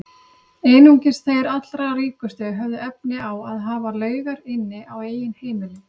Einungis þeir allra ríkustu höfðu efni á að hafa laugar inni á eigin heimili.